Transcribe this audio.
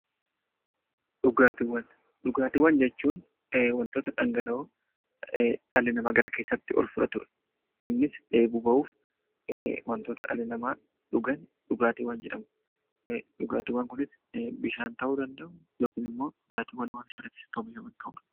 Dhugaatiiwwan jechuun wantoota dhangala'oo dhalli namaa gara keessaatti ol fudhatudha. Innis dheebuu bahuuf wantoota dhalli namaa dhugan dhugaatiiwwan jedhamu. Dhugaatiiwwan kunis bishaan ta'uu danda'u yookiin immoo dhugaatiiwwan waarshaalee keessatti oomishaman ta'uu danda'u.